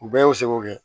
U bɛɛ y'u seko kɛ